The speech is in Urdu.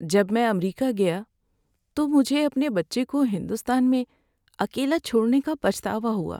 جب میں امریکہ گیا تو مجھے اپنے بچے کو ہندوستان میں اکیلا چھوڑنے کا پچھتاوا ہوا۔